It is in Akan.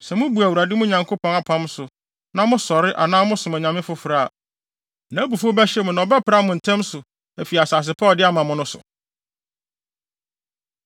Sɛ mubu Awurade, mo Nyankopɔn apam no so na mosɔre anaa mosom anyame foforo a, nʼabufuw bɛhyew mo na ɔbɛpra mo ntɛm so afi asase pa a ɔde ama mo no so.”